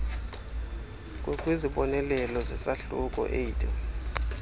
ngokwezibonelelo zesahluko viii